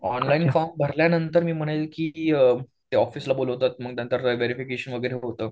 Online form भरल्यानंतर मी म्हणेल की, ते ऑफिसला बोलवतात आणि व्हेरिफिकेशन होत नंतर.